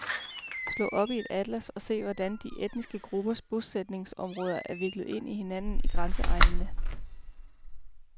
Slå op i et atlas og se hvordan de etniske gruppers bosætningsområder er viklet ind i hinanden i grænseegnene.